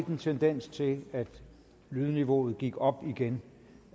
en tendens til at lydniveauet gik op igen